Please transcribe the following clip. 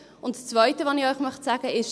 Das Zweite, was ich Ihnen sagen möchte, ist: